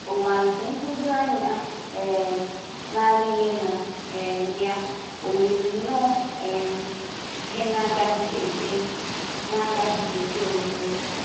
Ụwa nke nhụjuanya um na-adịghị na um ya ò yiri nnọọ um ihe na-agaghị ekwe na-agaghị ekwe omume?